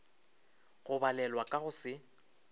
go balelwa ka go se